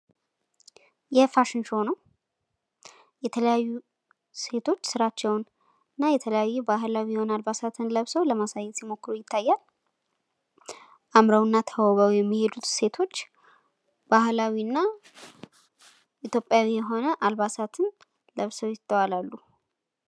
የፋሽን ሾዉ ነዉ። የተለያዩ ሴቶች ስራቸዉን እና የተለያዩ ባህላዊ የሆኑ አልባሳትን ለብሰዉ ለማሳየት ሲሞክሩ ይታያል። አምረዉ እና ተዉበዉ የሚሄዱት ሴቶች ባህላዊ እና ኢትዮጵያዊ የሆነ አልባሳትን ለብሰዉ ይስተዋላሉ።